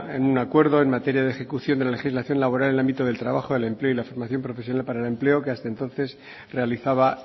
en un acuerdo en una materia de ejecución de la legislación laboral en el ámbito del trabajo de empleo y la fundación profesional para el empleo que hasta entonces realizaba